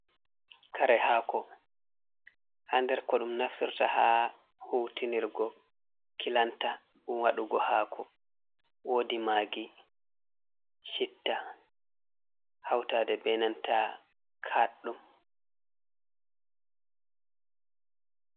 kare hako, ha nder ko dum naftirta, ha hutinirgo kilanta, dum wadugo hako, wodi magi, chitta, hautade be nanta kaddum.